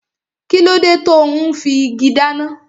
Kíló dé tò ún fi igi dáná?